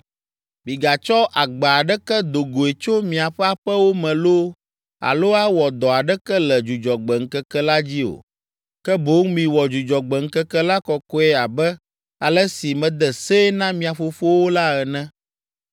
Migatsɔ agba aɖeke do goe tso miaƒe aƒewo me loo alo awɔ dɔ aɖeke le Dzudzɔgbe ŋkeke la dzi o, ke boŋ miwɔ Dzudzɔgbe ŋkeke la kɔkɔe abe ale si mede see na mia fofowo la ene.